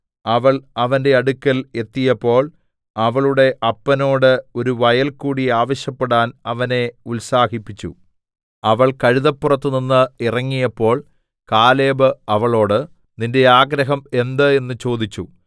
അവൾ അവന്റെ അടുക്കൽ എത്തിയപ്പോൾ അവളുടെ അപ്പനോട് ഒരു വയൽ കൂടി ആവശ്യപ്പെടാൻ അവനെ ഉത്സാഹിപ്പിച്ചു അവൾ കഴുതപ്പുറത്തുനിന്ന് ഇറങ്ങിയപ്പോൾ കാലേബ് അവളോട് നിന്റെ ആഗ്രഹം എന്ത് എന്ന് ചോദിച്ചു